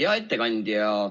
Hea ettekandja!